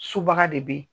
Sobaga de bɛ yen